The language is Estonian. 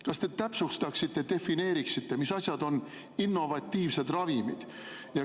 Kas te täpsustaksite, defineeriksite, mis asjad on innovatiivsed ravimid?